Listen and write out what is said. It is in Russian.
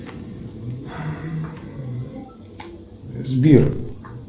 сбер